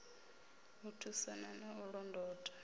u thusana na u londotana